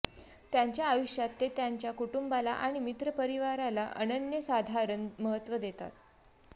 त्यांच्या आयुष्यात ते त्यांच्या कुटुंबाला आणि मित्रपरिवाराला अनन्यसाधारण महत्व देतात